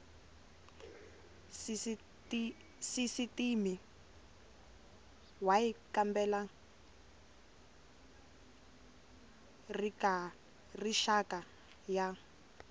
sisitimi y kambela rixaka ya